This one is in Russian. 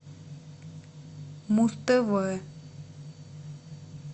муз тв